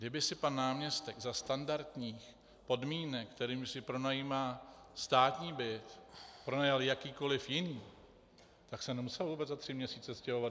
Kdyby si pan náměstek za standardních podmínek, kterými si pronajímá státní byt, pronajal jakýkoliv jiný, tak se nemusel vůbec za tři měsíce stěhovat.